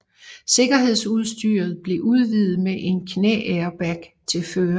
Sikkerhedsudstyret blev udvidet med en knæairbag til føreren